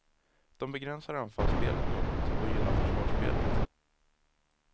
De begränsar anfallsspelet något och gynnar försvarsspelet.